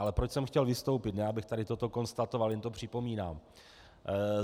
Ale proč jsem chtěl vystoupit, ne abych tady toto konstatoval, jen to připomínám.